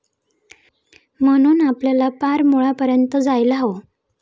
म्हणून आपल्याला पार मुळापर्यंत जायला हवं.